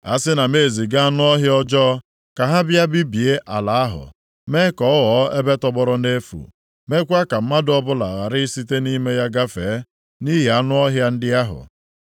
“Asị na m eziga anụ ọhịa ọjọọ ka ha bịa bibie ala ahụ, mee ka ọ ghọọ ebe tọgbọrọ nʼefu meekwa ka mmadụ ọbụla ghara ị site nʼime ya gafee nʼihi anụ ọhịa ndị ahụ,